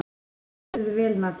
Þú stendur þig vel, Nadia!